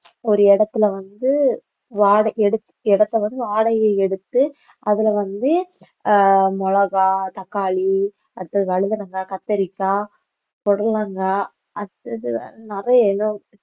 ஒரு இடத்துல வந்து வாட~ எடுத்~ இடத்தை வந்து வாடகைக்கு எடுத்து அதுல வந்து அஹ் மிளகாய், தக்காளி அடுத்தது வழுதுணங்காய், கத்தரிக்காய், புடலங்காய் அடுத்தது நிறைய